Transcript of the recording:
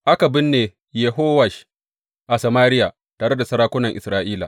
Aka binne Yehowash a Samariya tare da sarakunan Isra’ila.